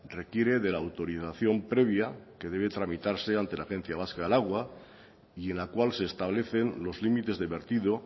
requiere de la autorización previa que debe tramitarse ante la agencia vasca del agua y en la cual se establecen los límites de vertido